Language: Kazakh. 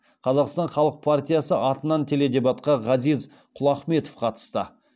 қазақстан халық партиясы атынан теледебатқа ғазиз құлахметов қатысты